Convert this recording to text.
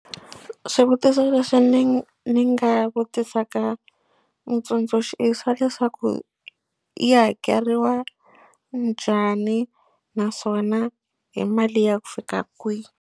Swivutiso leswi ni ni nga vutisaka mutsundzuxi i swa leswaku yi hakeriwa njhani naswona hi mali ya ku fika kwihi.